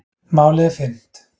Málið er fyrnt.